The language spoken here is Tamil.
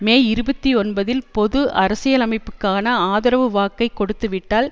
மே இருபத்தி ஒன்பதில் பொது அரசியலமைப்புகாக ஆதரவுவாக்கை கொடுத்து விட்டால்